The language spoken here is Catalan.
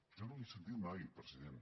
jo no els l’he sentit mai president